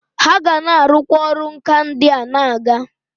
Ha ga na arukwa oru nka ndia na aga.